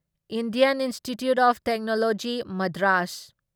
Indian institute of technology Madras